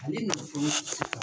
Ne na